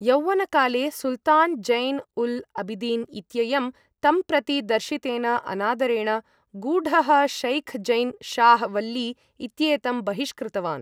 यौवनकाले सुल्तान् ज़ैन् उल् अबिदीन् इत्ययं तं प्रति दर्शितेन अनादरेण, गूढः शेख् ज़ैन् शाह् वल्ली इत्येतं बहिष्कृतवान्।